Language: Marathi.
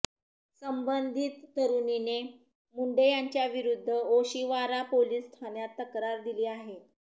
संबंधित तरुणीने मुंडे यांच्याविरुद्ध ओशिवारा पोलीस ठाण्यात तक्रार दिली आहे